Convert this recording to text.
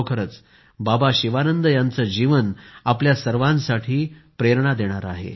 खरोखरच बाबा शिवानंद याचं जीवन आपल्या सर्वांना प्रेरणा देणारं आहे